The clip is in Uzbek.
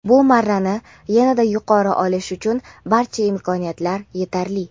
Bu marrani yana-da yuqori olish uchun barcha imkoniyatlar yetarli.